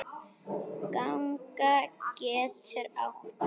Ganga getur átt við